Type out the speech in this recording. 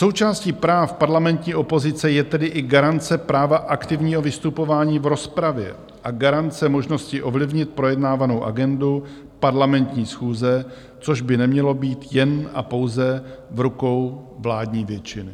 Součástí práv parlamentní opozice je tedy i garance práva aktivního vystupování v rozpravě a garance možnosti ovlivnit projednávanou agendu parlamentní schůze, což by nemělo být jen a pouze v rukou vládní většiny.